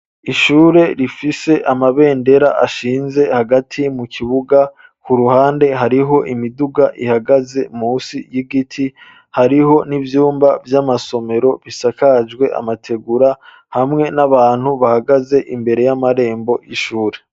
Ishure rifise amabendera ashinze hagati mu kibuga. K'uruhande hariho imiduga ihagaze munsi y'igiti. Hariho n'ivyumba vy'amasomero bisakajwe amategura, hamwe n'abantu bahagaze imbere y'amarembo y'ishure.